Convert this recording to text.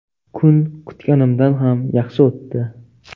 Kun kutganimdan ham yaxshi o‘tdi.